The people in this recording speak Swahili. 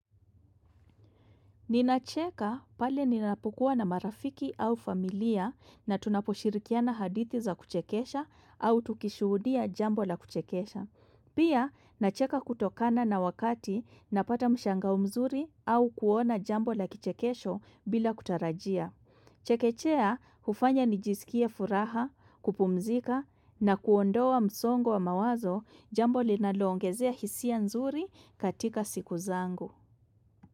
Ninacheka pale ninapokuwa na marafiki au familia na tunaposhirikiana hadithi za kuchekesha au tukishuhudia jambo la kuchekesha. Pia, nacheka kutokana na wakati napata mshangao mzuri au kuona jambo la kichekesho bila kutarajia. Chekechea, hufanya nijisikie furaha, kupumzika na kuondoa msongo wa mawazo jambo linaloongezea hisia nzuri katika siku zangu.